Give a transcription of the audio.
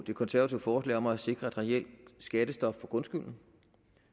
det konservative forslag om at sikre et reelt skattestop for grundskylden